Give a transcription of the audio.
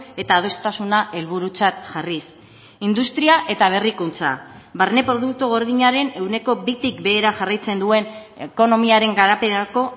eta adostasuna helburutzat jarriz industria eta berrikuntza barne produktu gordinaren ehuneko bitik behera jarraitzen duen ekonomiaren garapenerako